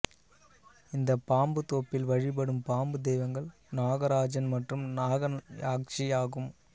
இந்த பாம்பு தோப்பில் வழிபடும் பாம்பு தெய்வங்கள் நாகராஜன் மற்றும் நாகயாக்சி ஆகும்